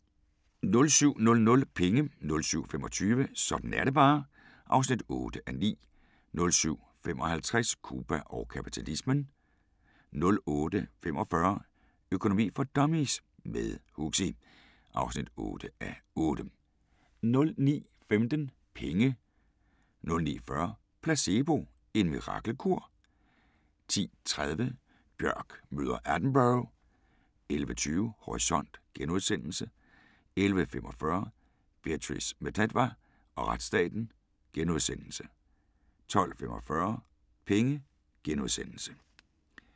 07:00: Penge 07:25: Sådan er det bare (8:9) 07:55: Cuba og kapitalismen 08:45: Økonomi for dummies – med Huxi (8:8) 09:15: Penge 09:40: Placebo – en mirakelkur? 10:30: Björk møder Attenborough 11:20: Horisont * 11:45: Beatrice Mtetwa og retsstaten * 12:45: Penge *